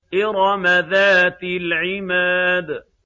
إِرَمَ ذَاتِ الْعِمَادِ